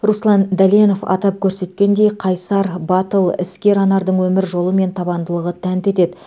руслан дәленов атап көрсеткендей қайсар батыл іскер анардың өмір жолы мен табандылығы тәнті етеді